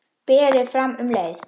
Berið fram um leið.